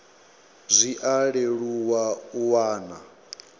zwi a leluwa u wana